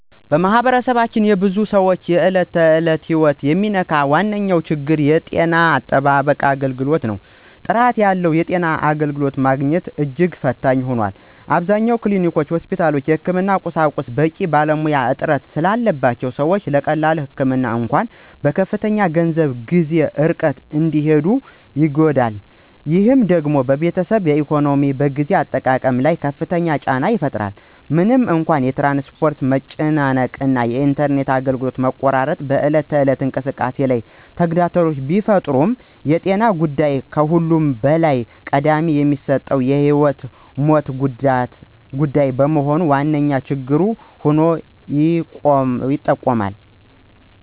በማኅበረሰባችን የብዙ ሰዎችን የዕለት ተዕለት ሕይወት የሚነካው ዋነኛው ችግር የጤና አጠባበቅ አገልግሎት ነው። ጥራት ያለው የጤና አገልግሎት ማግኘት እጅግ ፈታኝ ሆኗል። አብዛኞቹ ክሊኒኮችና ሆስፒታሎች የሕክምና ቁሳቁስና በቂ ባለሙያ እጥረት ስላለባቸው ሰዎች ለቀላል ህመም እንኳ በከፍተኛ ገንዘብና ጊዜ ርቀው እንዲሄዱ ይገደዳሉ። ይህ ደግሞ በቤተሰብ ኢኮኖሚና በጊዜ አጠቃቀም ላይ ከፍተኛ ጫና ይፈጥራል። ምንም እንኳ የትራንስፖርት መጨናነቅ እና የኢንተርኔት አገልግሎት መቆራረጥ በዕለት ተዕለት እንቅስቃሴ ላይ ተግዳሮት ቢፈጥሩም የጤና ጉዳይ ከሁሉም በላይ ቅድሚያ የሚሰጠውና የሕይወትና ሞት ጉዳይ በመሆኑ ዋነኛ ችግር ሆኖ ይቆማል።